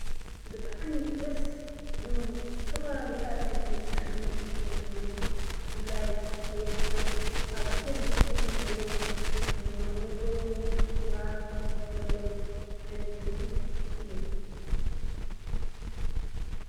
ብጣዕሚ ደስ ዝብሉ ዝተፈላለዩ አትክልትን አሕምልትን እንትኾኑ ብፍላይ ንውዲ ሰብ አዝዮም ዝጠቅሙ ኮይኖም ንክምገብዎምዎ ሽውሃት ዝኸፍተሎም ዓይነት ምግቢ እዩም።